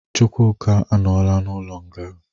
Chukwuka anọla n'ụlọ nga.